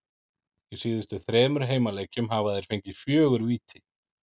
Í síðustu þremur heimaleikjum hafa þeir fengið fjögur víti.